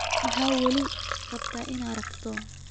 Maxaad weli rabtaa inaad aragto?